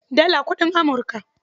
Dala kuɗin Amurka.